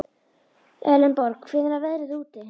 Elenborg, hvernig er veðrið úti?